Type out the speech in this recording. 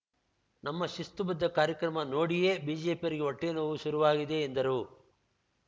ನಮ್ಮ ಶಿಸ್ತುಬದ್ಧ ಕಾರ್ಯಕ್ರಮ ನೋಡಿಯೇ ಬಿಜೆಪಿಯವರಿಗೆ ಹೊಟ್ಟೆನೋವು ಶುರುವಾಗಿದೆ ಎಂದರು